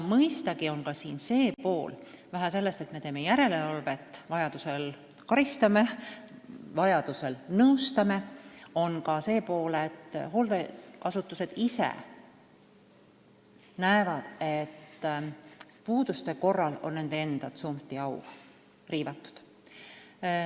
Mõistagi on siin ka teine pool: kuigi me teeme järelevalvet ning vajaduse korral karistame või nõustame, peavad hooldeasutused ise nägema, et puuduste korral on nende enda tsunfti au riivatud.